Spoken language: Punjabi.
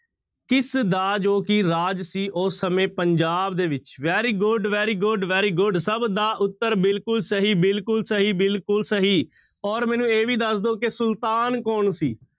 ਕਿਸਦਾ ਜੋ ਕਿ ਰਾਜ ਸੀ, ਉਹ ਸਮੇਂ ਪੰਜਾਬ ਦੇ ਵਿੱਚ very good, very good, very good ਸਭ ਦਾ ਉੱਤਰ ਬਿਲਕੁਲ ਸਹੀ, ਬਿਲਕੁਲ ਸਹੀ, ਬਿਲਕੁਲ ਸਹੀ ਔਰ ਮੈਨੂੰ ਇਹ ਵੀ ਦੱਸ ਦਓ ਕਿ ਸੁਲਤਾਨ ਕੌਣ ਸੀ?